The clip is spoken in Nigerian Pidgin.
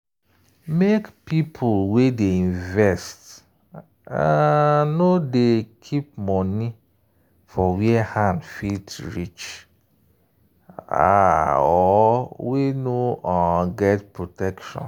make people wey dey invest um nor dey keep money for where hand fit reach um or wey no um get protection.